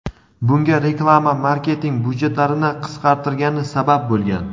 Bunga reklama marketing byudjetlarini qisqartirgani sabab bo‘lgan.